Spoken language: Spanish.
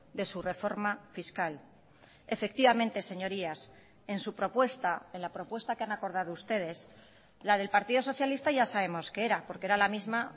de su reforma fiscal efectivamente señorías en su propuesta en la propuesta que han acordado ustedes la del partido socialista ya sabemos que era porque era la misma